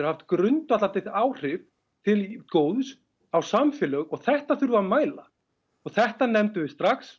haft grundvallandi áhrif til góðs á samfélög og þetta þurfum við að mæla þetta nefndum við strax